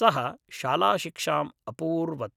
सः शालाशिक्षाम् अपूर्वत्